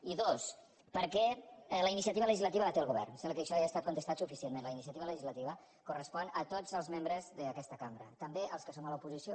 i dos perquè la iniciativa legislativa la té el govern sembla que això ja ha estat contestat suficientment la inicia·tiva legislativa correspon a tots els membres d’aquesta cambra també als que som a l’oposició